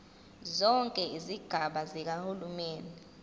zonke izigaba zikahulumeni